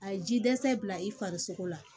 A ye ji dɛsɛ bila i farisogo la